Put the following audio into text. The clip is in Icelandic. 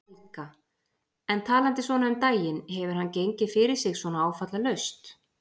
Helga: En talandi svona um daginn, hefur hann gengið fyrir sig svona áfallalaust?